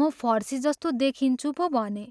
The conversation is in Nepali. म फर्सीजस्तो देखिन्छु पो भने।